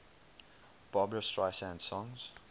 barbra streisand songs